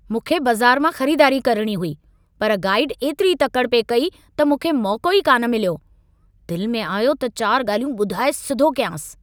मूंखे बाज़ारु मां ख़रीदारी करणी हुई पर गाइडु एतिरी तकड़ि पिए कई त मूंखे मौक़ो ई कान मिल्यो. दिलि में आयो त चार ॻाल्हियूं ॿुधाए सिधो कयांसि।